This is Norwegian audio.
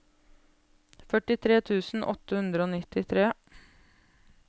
førtitre tusen åtte hundre og nittitre